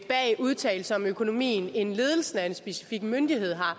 bag udtalelser om økonomien end ledelsen af en specifik myndighed har